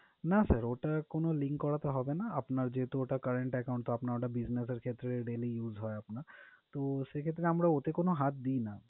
না sir ওটা কোন link করাতে হবে না। আপনার যেহেতু ওটা current account তো আপনার ওটা business ক্ষেত্রে daily use হয় আপনার। তো সেক্ষেত্রে আমারা ওতে কোন হাত দিই না।